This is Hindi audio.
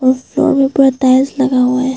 और फ्लोर के ऊपर टाइल्स लगा हुआ है।